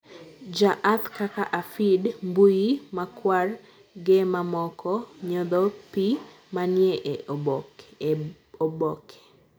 jaath kaka afid, mbuyi makwar ge mamoko nyotho pi manie e oboke